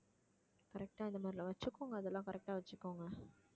correct ஆ இந்த மாதிரிலாம் வச்சுக்கோங்க அதெல்லாம் correct ஆ வச்சுக்கோங்க